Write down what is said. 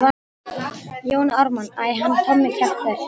Jón Ármann:- Æ, hann Tommi kjaftur.